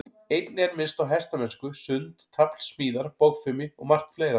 Einnig er minnst á hestamennsku, sund, tafl, smíðar, bogfimi og margt fleira.